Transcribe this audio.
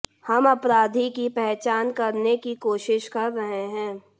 हम अपराधी की पहचान करने की कोशिश कर रहे हैं